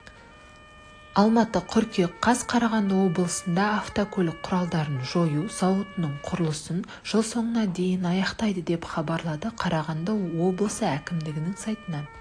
алматы қыркүйек қаз қарағанды облысында автокөлік құралдарын жою зауытының құрылысын жыл соңына дейін аяқтайды деп хабарлады қарағанды облысы әкімдігінің сайтынан